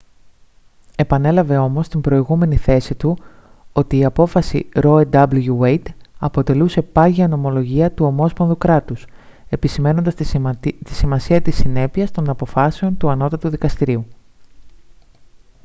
επανέλαβε όμως την προηγούμενη θέση του ότι η απόφαση roe v. wade αποτελούσε «πάγια νομολογία του ομόσπονδου κράτους» επισημαίνοντας τη σημασία της συνέπειας των αποφάσεων του ανώτατου δικαστηρίου